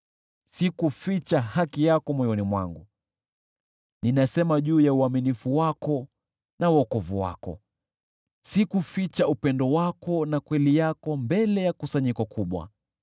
Sikuficha haki yako moyoni mwangu; ninasema juu ya uaminifu wako na wokovu wako. Sikuficha upendo wako na kweli yako mbele ya kusanyiko kubwa.